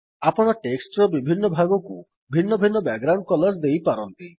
ଆପଣ ଟେକ୍ସଟ୍ ର ବିଭିନ୍ନ ଭାଗକୁ ଭିନ୍ନ ଭିନ୍ନ ବ୍ୟାକଗ୍ରାଉଣ୍ଡ୍ କଲର୍ ଦେଇପାରନ୍ତି